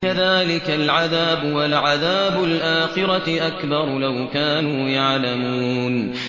كَذَٰلِكَ الْعَذَابُ ۖ وَلَعَذَابُ الْآخِرَةِ أَكْبَرُ ۚ لَوْ كَانُوا يَعْلَمُونَ